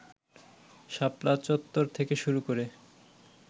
শাপলা চত্বর থেকে শুরু করে